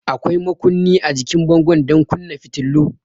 Akwai makunni a jikin bango don kunna fitilu.